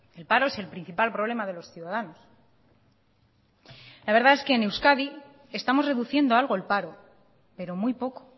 el paro es el principal problema de los ciudadanos la verdad es que en euskadi estamos reduciendo algo el paro pero muy poco